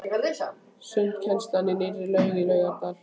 Sundkennsla í nýrri laug í Laugardal.